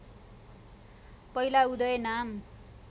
पहिला उदय नाम